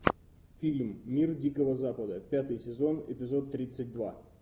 фильм мир дикого запада пятый сезон эпизод тридцать два